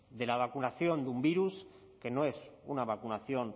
de la vacunación de un virus que no es una vacunación